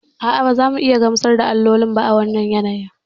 A'a, ba za mu iya gamsar da alloli ba a wannan yanayin.